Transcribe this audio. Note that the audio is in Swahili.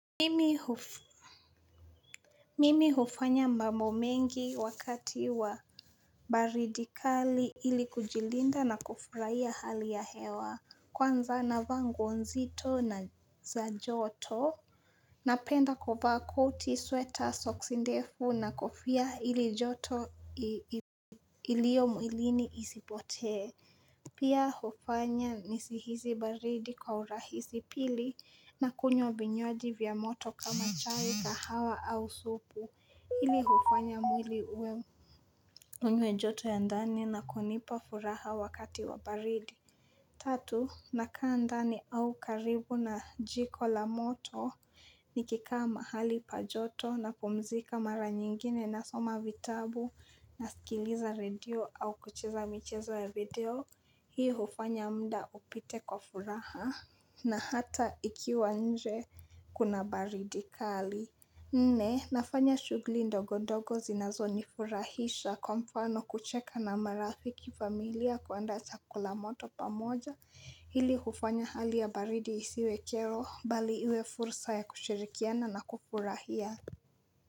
Mimi hufanya mbambo mengi wakati wa baridi kali ili kujilinda na kufurahia hali ya hewa kwanza na vaa nguo nzito na za joto Napenda kuvaa koti sweater soksi ndefu na kofia ili joto ilio mwilini isipotee. Pia hufanya nisihisi baridi kwa urahisi pili na kunywa vinywaji vya moto kama chai kahawa au supu. Hili hufanya mwili ue mwenye joto ya ndani na kunipa furaha wakati wa baridi. Tatu, nakaa ndani au karibu na jiko la moto nikikaa mahali pajoto napumzika mara nyingine nasoma vitabu nasikiliza radio au kucheza michezo ya video. Hii hufanya muda upite kwa furaha na hata ikiwa nje kuna baridi kali. Nne nafanya shuguli ndogo ndogo zinazo nifurahisha kwa mfano kucheka na marafiki familia kuandaa chakula moto pamoja hili hufanya hali ya baridi isiwe kero bali iwe fursa ya kushirikiana na kufurahia.